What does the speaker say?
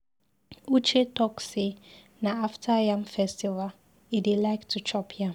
Uche talk say na after yam festival e dey like to chop yam.